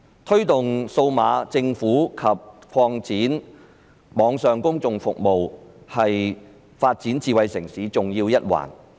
推動數碼政府及擴展網上公共服務是發展智慧城市的重要一環。